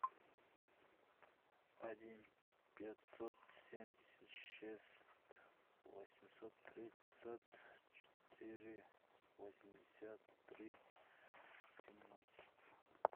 один пятьсот семьдесят шесть восемьсот тридцать четыре восемьдесят три семнадцать